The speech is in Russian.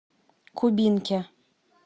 кубинке